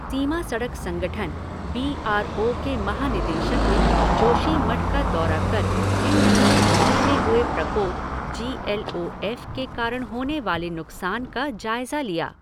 सीमा सड़क संगठन, B R O के महानिदेशक ने जोशीमठ का दौरा कर हिमनदीय झील में हुए प्रकोप जी एल ओ एफ़ के कारण होने वाले नुकसान का जायज़ा लिया।